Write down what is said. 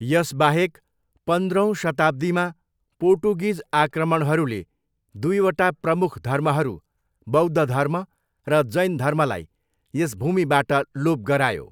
यसबाहेक पन्द्रौँ शताब्दीमा पोर्टुगिज आक्रमणहरूले दुइवटा प्रमुख धर्महरू बौद्ध धर्म र जैन धर्मलाई यस भूमिबाट लोप गरायो।